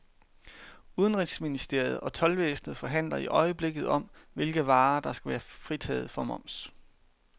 Udenrigsministeriet og toldvæsenet forhandler i øjeblikket om, hvilke varer der skal være fritaget for moms.